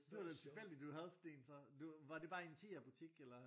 Det var lidt tilfældigt at du havde sådan en så du var det bare en i Tigerbutik eller